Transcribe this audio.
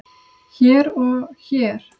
hér og hér.